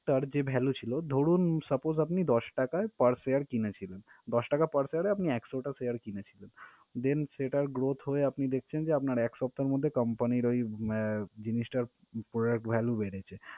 টার যে value ছিলো ধরুন, suppose আপনি দশ টাকায় per share কিনেছিলেন, দশ টাকা per share এ আপনি একশোটা share কিনেছিলেন then সেটার growth হয়ে আপনি দেখছেন যে আপনার এক সপ্তাহর মধ্যে company র ওই আহ জিনিসটার product value বেড়েছে।